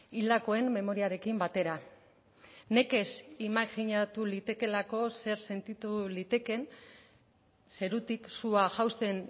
hildakoen memoriarekin batera nekez imajinatu litekeelako zer sentitu litekeen zerutik sua jausten